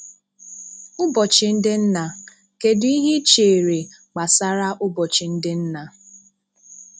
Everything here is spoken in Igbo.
Ụbọchị ndị nna: kedụ ihe ị chere gbasara ụbọchị gbasara ụbọchị ndị nna?